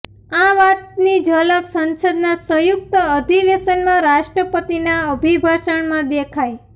આ વાતની ઝલક સંસદના સંયુક્ત અધિવેશનમાં રાષ્ટ્રપતિના અભિભાષણમાં દેખાઇ